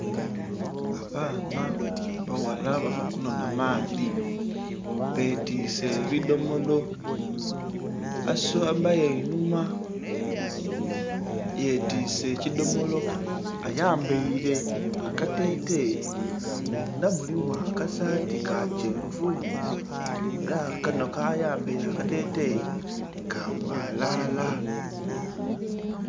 Abaana baghala bava kunonha maadhi betiise ebidhomolo. Asembayo einhuma yetiise ekidhomolo, ayambaile akateteyi mundha mulimu akasaati ka kyenvu, ela kanho ka yambaire akateteyi, ka bwalaala.